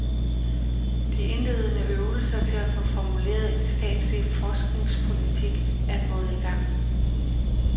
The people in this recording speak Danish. De indledende øvelser til at få formuleret en statslig forskningspolitik er gået i gang.